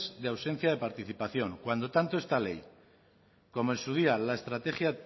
de ausencia de participación cuando esta ley como en su día la estrategia